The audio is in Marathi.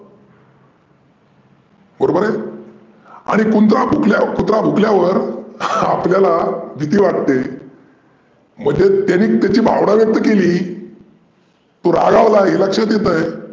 बरोबर आहे? आणि कुनचा कुत्रा भुंकल्यावर आपल्याला भिती वाटते. म्हणजे त्याने त्याची भावना व्यक्त केली तो रागवलाय हे लक्षात येत आहे.